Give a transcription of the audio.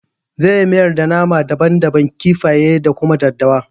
Zan yi miyar da nama daban daban, kifaye da kuma daddawa